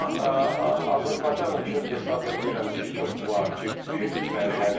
Amma Azərbaycan üçün hesab eləyirəm ki, çox vacib bir mərhələdir.